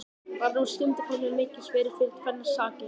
Varð sú skyndiferð mér mikilsverð fyrir tvennar sakir.